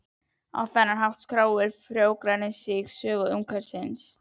Á þennan hátt skráir frjóregnið sögu umhverfisins.